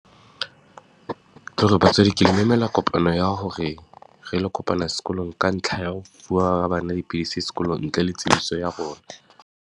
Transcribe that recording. Ke hore batswadi ke le memela kopano ya hore, re lo kopana sekolong ka ntlha ya ho fuwa bana dipidisi sekolong ntle le tsebiso ya rona.